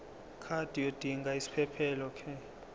card yodinga isiphephelok